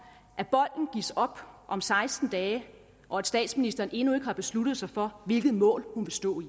bolden gives op om seksten dage og at statsministeren endnu ikke har besluttet sig for hvilket mål hun vil stå i